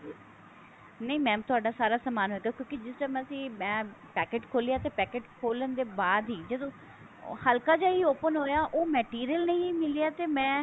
ਨਹੀਂ mam ਤੁਹਾਡਾ ਸਾਰਾ ਸਮਾਨ ਹੋਏਗਾ ਕਿਉਂਕਿ ਜਿਸ time ਅਸੀਂ ਮੈਂ packet ਖੋਲਿਆ ਤੇ packet ਖੋਲਣ ਦੇ ਬਾਅਦ ਹੀ ਜਦੋਂ ਹ੍ਹ੍ਲਕਾ ਜਿਹਾ open ਹੋਇਆ ਤੇ ਉਹ material ਨਹੀਂ ਮਿਲਿਆ ਤੇ ਮੈਂ